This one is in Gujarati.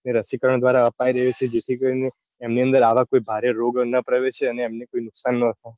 એ રસીકરણ દ્વારા અપાઈ રહી છે જેથી કરીને એમની અંદર આવા કોઈ ભારે રોગ ના પ્રવેશે અને એમને કોઈ નૂઉકસાન ન થાય.